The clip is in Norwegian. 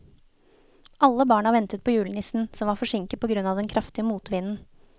Alle barna ventet på julenissen, som var forsinket på grunn av den kraftige motvinden.